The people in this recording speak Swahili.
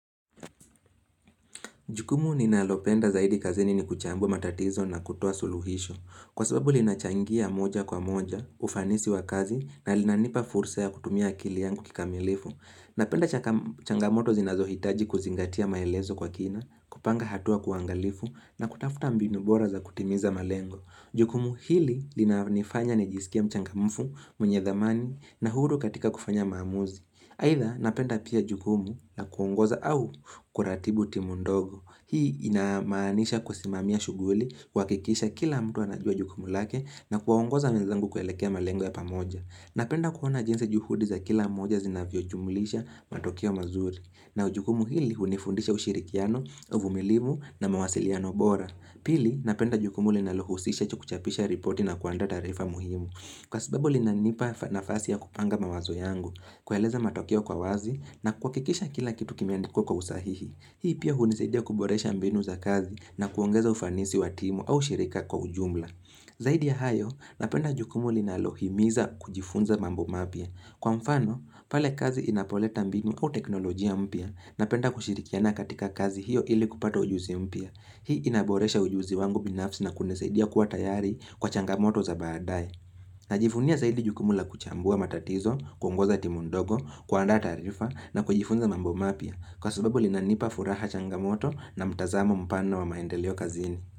Jukumu ninalopenda zaidi kazini ni kuchambua matatizo na kutoa suluhisho. Kwa sababu linachangia moja kwa moja, ufanisi wa kazi na linanipa fursa ya kutumia akili yangu kikamilifu. Napenda changamoto zinazohitaji kuzingatia maelezo kwa kina, kupanga hatua kwa uangalifu na kutafuta mbinu bora za kutimiza malengo. Jukumu hili linanifanya nijisikie mchangamufu, mwenye dhamani na huru katika kufanya maamuzi. Aidha napenda pia jukumu na kuongoza au kuratibu timu ndogo. Hii inamaanisha kusimamia shughuli, kuhakikisha kila mtu anajua jukumu lake na kuongoza wenzangu kuelekea malengo ya pamoja. Napenda kuona jinsi juhudi za kila moja zinavyojumulisha matokeo mazuri. Na jukumu hili hunifundisha ushirikiano, uvumilivu na mawasiliano bora. Pili, napenda jukumu linalohusisha kuchapisha ripoti na kuandaa taarifa muhimu. Kwa sababu linanipa nafasi ya kupanga mawazo yangu, kueleza matokeo kwa wazi na kuhakikisha kila kitu kimeandikwa kwa usahihi. Hii pia hunisaidia kuboresha mbinu za kazi na kuongeza ufanisi wa timu au shirika kwa ujumla. Zaidi ya hayo, napenda jukumu linalohimiza kujifunza mambo mapya. Kwa mfano, pale kazi inapoleta mbinu au teknolojia mpya, napenda kushirikiana katika kazi hiyo ili kupata ujuzi mpya. Hii inaboresha ujuzi wangu binafsi na kunisaidia kuwa tayari kwa changamoto za baadaye. Najivunia zaidi jukumu la kuchambua matatizo, kuongoza timu ndogo, kuandaa taarifa na kujifunza mambo mapya kwa sababu linanipa furaha changamoto na mtazamo mpano wa maendeleo kazini.